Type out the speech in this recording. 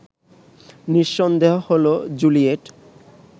নিঃসন্দেহ হল জুলিয়েট